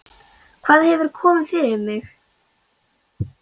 Hvað hefur komið fyrir mig?